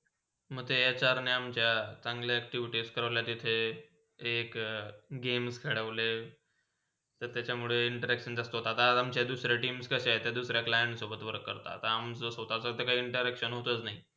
म ते सरनी अमच्या तिथे active test करोले तिथे, एक, games करोले. तर त्याच्यामुळे interaction जासता होतात आणि अमचे दुसरे team कशे आहे. दुसऱ्या client सोबत work करतात आता अमचा स्वतचा काही interaction होतच नाही.